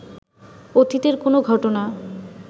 অতীতের কোনো ঘটনা